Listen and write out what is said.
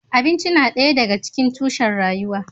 Abinci yana ɗaya daga cikin tushen rayuwa.